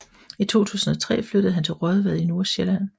I 2003 flyttede han til Raadvad i Nordsjælland